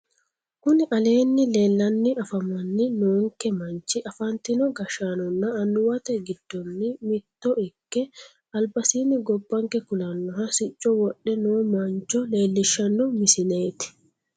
Kuni aleenni leellanni afamanni noonke manchi afantino gashshaanonna annuwate giddonni mitto ikke albasiinni gobbanke kulannoha sicco wodhe noo mancho leellishshanno misileeti